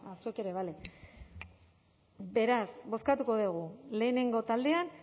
zuek ere bale beraz bozkatuko dugu lehenengo taldean